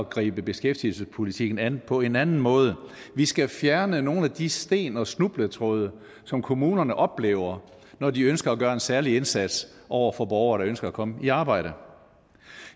gribe beskæftigelsespolitikken an på en anden måde vi skal fjerne nogle af de sten og snubletråde som kommunerne oplever når de ønsker at gøre en særlig indsats over for borgere der ønsker at komme i arbejde